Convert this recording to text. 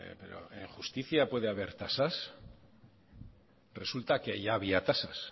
pero en justicia puede haber tasas resulta que ya había tasas